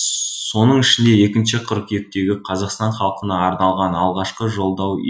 соның ішінде екінші қыркүйектегі қазақстан халқына арналған алғашқы жолдауы